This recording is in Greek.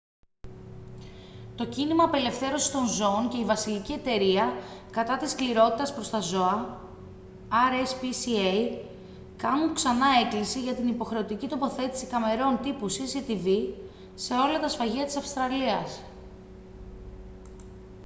το κίνημα απελευθέρωσης των ζώων και η βασιλική εταιρεία κατά της σκληρότητας προς τα ζώα rspca κάνουν ξανά έκκληση για την υποχρεωτική τοποθέτηση καμερών τύπου cctv σε όλα τα σφαγεία της αυστραλίας